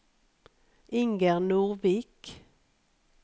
Inger Nordvik